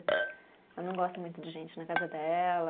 Ela não gosta muito de gente na casa dela.